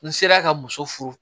N sera ka muso furu